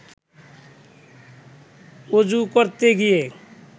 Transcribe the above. অজু করতে গিয়ে